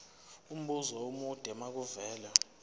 umbuzo omude makuvele